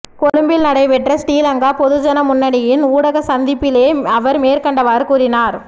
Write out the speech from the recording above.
கொழும்பில் நடைபெற்ற ஸ்ரீலங்கா பொதுஜன முன்னணியின் ஊடக சந்திப்பிலே அவர் மேற்கண்டவாறு கூறினார்